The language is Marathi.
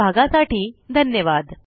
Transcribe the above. सहभागासाठी धन्यवाद